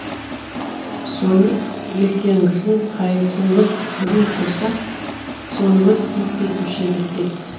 сони ертеңгісін қайсымыз бұрын тұрсақ сонымыз киіп кетуші едік депті